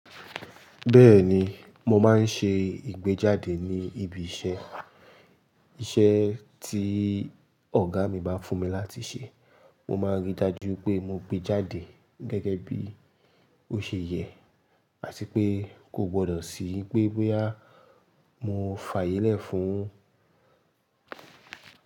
Bẹ́ẹ̀ni, mo máa ń ṣe ìgbéjáde ní ibi iṣẹ́. Iṣẹ́ tí ọ̀gá mi bá fún mi láti ṣe, mo máa rí i dájú pé mo gbé jáde gẹ́gẹ́ bí ó ṣe yẹ àti pé kò gbodo sì í pé mo fàyẹ́ lẹ̀ fún un.